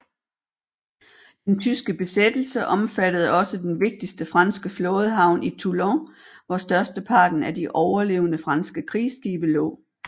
Den tyske besættelse omfattede også den vigtigste franske flådehavn i Toulon hvor størsteparten af de overlevende franske krigsskibe lå